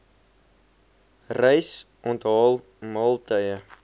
reis onthaal maaltye